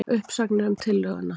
Umsagnir um tillöguna